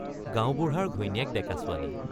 গাঁওবুঢ়াৰ ঘৈণীয়েক ডেকা ছোৱালী।